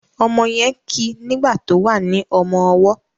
omó yén kí nigba tó wá ní ọmọ ọwó